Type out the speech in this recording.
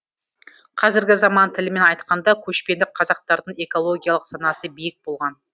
қазіргі заман тілімен айтқанда көшпенді қазақтардың экологиялық санасы биік болған